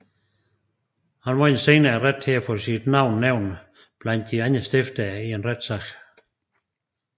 Han vandt senere retten til at få sit navn nævnt blandt de andre stiftere i en retssag